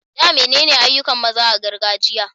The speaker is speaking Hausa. Dame damenene ayyukan maza a gargajiya?